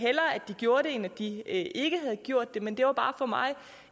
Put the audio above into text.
de gjorde det end at de ikke havde gjort det men det var for mig